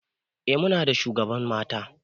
Eh Muna da shugaban mata.